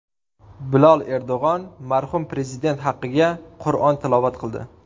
Bilol Erdo‘g‘on marhum Prezident haqqiga qur’on tilovat qildi.